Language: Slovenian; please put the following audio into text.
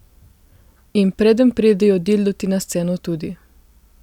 In preden pridejo dildoti na sceno tudi.